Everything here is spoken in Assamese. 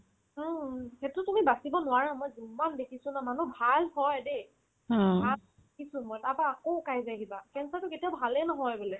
অ, সেটো তুমি বাচিব নোৱাৰা মই যিমান দেখিছো ন মই মানুহ ভাল হয় দে আত কিছু হয় তাৰপাই আকৌ শুকাই যায় কিবা অংশটো কেতিয়াও ভালে নহয় বোলে